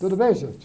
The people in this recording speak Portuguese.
Tudo bem, gente?